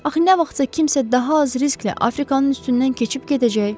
Axı nə vaxtsa kimsə daha az risklə Afrikanın üstündən keçib gedəcək?